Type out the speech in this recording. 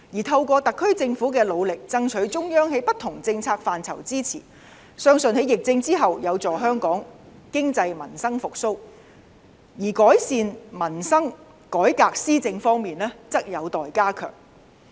透過特區政府的努力，爭取中央在不同政策範疇支持，相信在疫症之後，有助香港經濟和民生復蘇；而改善民生、改革施政方面則有待加強。